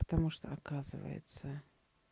потому что оказывается